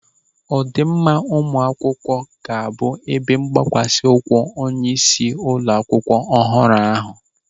Ọdịmma ụmụ akwụkwọ ga-abụ ebe mgbakwasa ụkwụ onyeisi ụlọ akwụkwọ ọhụrụ ahụ.